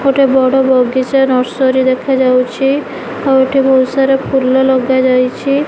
ଗୋଟେ ବଡ଼ ବଗିଚା ନର୍ସରୀ ଦେଖାଯାଉଛି। ଆଉ ଏଠି ବୋହୁତ ସାରା ଫୁଲ ଲଗାଯାଇଛି।